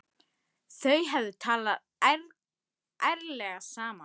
Þau hefðu talað ærlega saman.